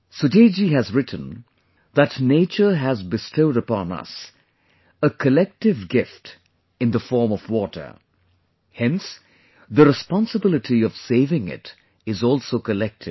Sujit ji has written that Nature has bestowed upon us a collective gift in the form of Water; hence the responsibility of saving it is also collective